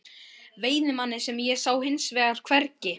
Veiðimanninn sá ég hins vegar hvergi.